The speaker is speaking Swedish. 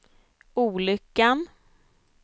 olyckan